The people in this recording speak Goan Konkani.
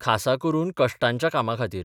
खासा करून कश्टांच्या कामां खातीर.